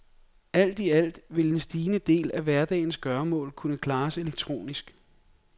Alt i alt vil en stigende del af hverdagens gøremål kunne klares elektronisk.